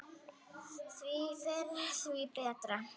Því fyrr því betra.